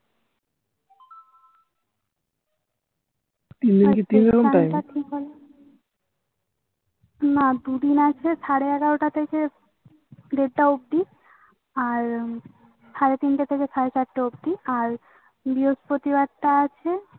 তিন দিন কি না দুদিন আছে সাড়ে এগারোটা থেকে দেড়টা অব্দি আর সাড়ে তিনটে থেকে সাড়ে চারটে অব্দি আর বৃহস্পতি বার তা আছেই